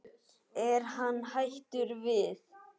Er hann hættur við?